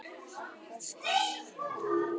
Okkur skorti aldrei neitt.